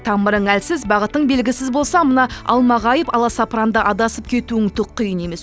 тамырың әлсіз бағытың белгісіз болса мына алмағайып аласапыранда адасып кетуің түк қиын емес